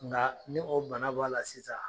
Nkaa ni o bana b'a la sisan